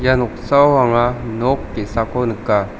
ia noksao anga nok ge·sako nika.